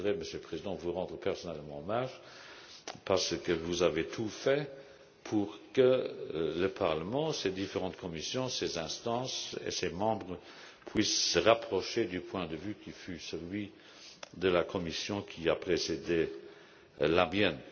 Je voudrais, Monsieur le Président, vous rendre personnellement hommage parce que vous avez tout fait pour que le Parlement, ses différentes commissions, ses instances et ses membres puissent se rapprocher du point de vue qui fut celui de la Commission qui a précédé la mienne.